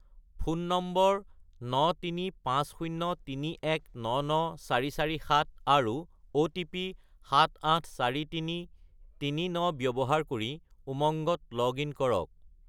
Phone নম্বৰ 93503199447 আৰু OTP 784339 ব্যৱহাৰ কৰি উমংগত লগ-ইন কৰক।